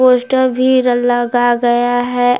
Poster भी लगा गया है।